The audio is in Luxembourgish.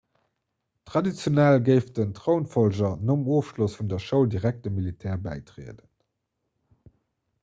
traditionell géif den trounfollger nom ofschloss vun der schoul direkt dem militär bäitrieden